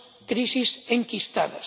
crisis enquistadas.